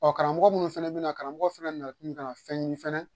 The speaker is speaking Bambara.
Ɔ karamɔgɔ minnu fana bɛna karamɔgɔ fana nakun ka na fɛnɲini fana